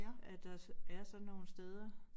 At der er sådan nogle steder